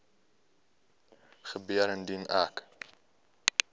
gebeur indien ek